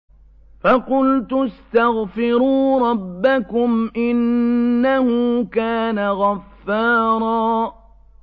فَقُلْتُ اسْتَغْفِرُوا رَبَّكُمْ إِنَّهُ كَانَ غَفَّارًا